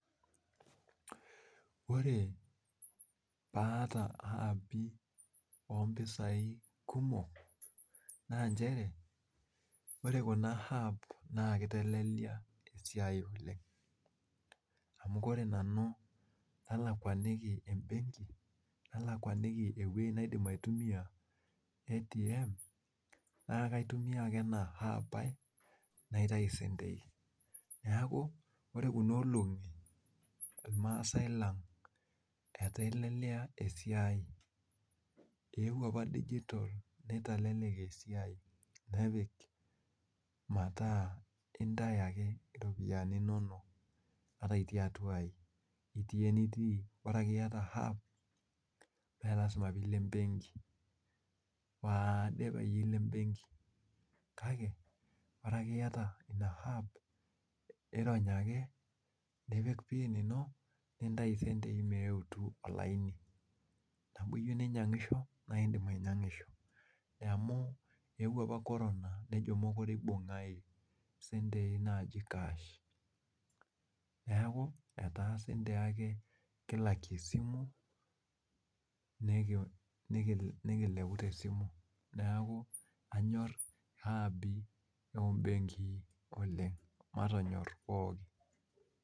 Ore pee aata api ompisai kumok naa nchere ore Kuna aps naa kitelelek esiai oleng amu ore nanu alkwaniki embenki nalkwaniki eweji naidim aitumia ATM naa kaitumiya ake ena ap ai naitayu sentei neeku ore Kuna olongi irmaasai lang eitelelia esiai eyeuo apa digital nitelelek esiai nepik metaa intayu ake ropiyiani inonok ata itii atua aji ata itii enitii bora akeyie metaa iyata ap meelasima pee ilo embenki ,kake ore iyata ina ap irony ake nipik piin ino nintayu sentei meetu olaini lino, neeku teniyieu ninyangisho naa indim ainyangisho amu eeuo apa korona nejia mookure eibungi sentei naaji kash neeku kuna sentei ake kilakie esimu nikilepu tesimu, neeku anyor ap ombekii oleng matonyor pookin.